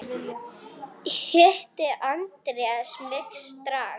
Hitti Andrés mig strax.